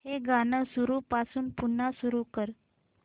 हे गाणं सुरूपासून पुन्हा सुरू कर